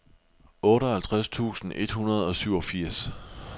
otteoghalvtreds tusind et hundrede og syvogfirs